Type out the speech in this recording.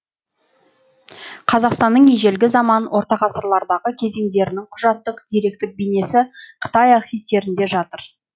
қазақстанның ежелгі заман ортағасырлардағы кезеңдерінің құжаттық деректік бейнесі қытай архивтерінде жатыр